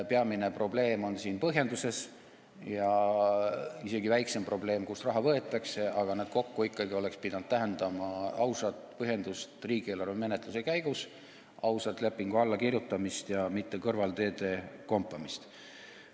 Peamine probleem on siin põhjenduses, isegi väiksem probleem on see, kust raha võetakse, aga need kokku oleksid pidanud tähendama ikkagi ausat põhjendust riigieelarve menetluse käigus ja ausat lepingu allakirjutamist, aga mitte kõrvalteede kompamist.